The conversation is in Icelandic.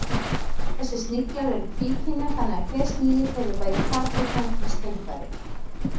Þessir sniglar eru tvíkynja þannig að hver snigill hefur bæði karl- og kvenkyns kynfæri.